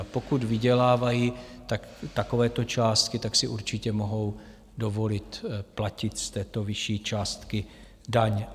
A pokud vydělávají takovéto částky, tak si určitě mohou dovolit platit z této vyšší částky daň.